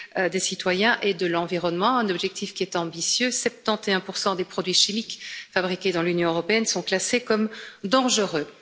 des citoyens et de l'environnement, un objectif qui est ambitieux 71 des produits chimiques fabriqués dans l'Union européenne sont classés comme dangereux.